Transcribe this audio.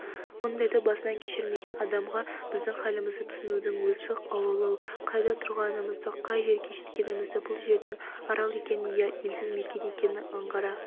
мұндайды басынан кешірмеген адамға біздің халімізді түсінудің өзі ауырлау қайда тұрғанымызды қай жерге жеткенімізді бұл жердің арал екенін я елсіз мекен екенін аңғара